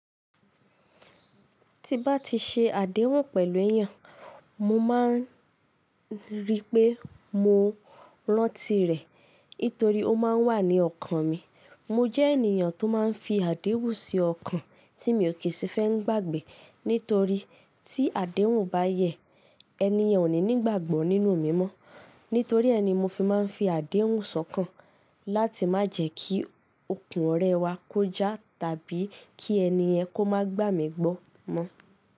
Tí n bá ti ṣe àdéhùn pẹ̀lú èèyàn, mo máa ń rí i pé mo rántí rẹ̀ nítorí ó máa ń wà ní ọkàn mi. Mo jẹ́ ènìyàn tó máa ń fi àdéhùn sí ọkàn tí mi ò kí sì fẹ́ gbàgbé, nítorí tí àdéhùn bá yẹ̀, ẹniyen ò ní nígbàgbọ́ nínú mi mọ́. Nítorí ẹ́ ni mo fi máa ń fi àdéhùn so kàn láti má jẹ́ kí okùn ọ̀rẹ́ wa kó já tàbí kí ẹni yen kó máa gbà mí gbọ́ mọ́.